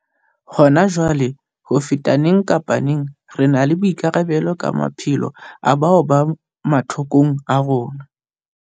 Hona jwale, ho feta neng kapa neng, re na le boikarabelo ka maphelo a bao ba mathokong a rona.